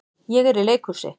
Ég er í leikhúsi.